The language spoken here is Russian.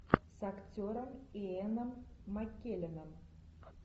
с актером иэном маккелленом